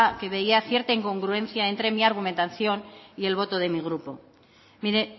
que veía cierta incongruencia entre mi argumentación y el voto de mi grupo mire